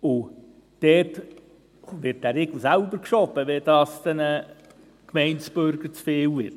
Dort wird der Riegel vorgeschoben, wenn es den Gemeindebürgern zu viel wird.